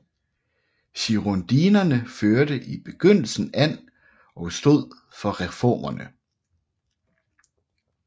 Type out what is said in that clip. Girondinerne førte i begyndelsen an og stod for reformerne